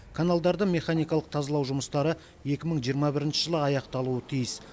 каналдарды механикалық тазалау жұмыстары екі мың жиырма бірінші жылы аяқталуы тиіс